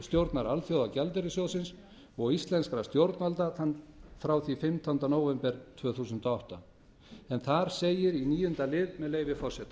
framkvæmdastjórnar alþjóðagjaldeyrissjóðsins og íslenskra stjórnvalda frá því fimmtánda nóvember tvö þúsund og átta þar segir í níunda lið með leyfi forseta